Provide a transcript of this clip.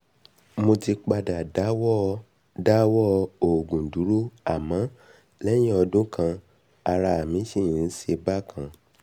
mo ti padà dáwọ́ dáwọ́ òògùn dúró àmọ́ lẹ́yìn ọdún kan ará sì ń ṣe mí bákan